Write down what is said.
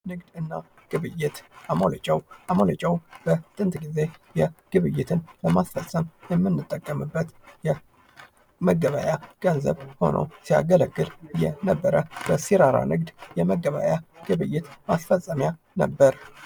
ንግድና ግብይት አሞሌ ጨው ፡-አሞሌ ጨውበጥንት ጊዜ የግብይትን ለማስፈጸም የምንጠቀምበት የመገበያያ ገንዘብ ሆኖ ሲያገለግል የነበረ በሲራራ ንግድ መገበያያ ግብይት ማስፈፀሚያ ነበር።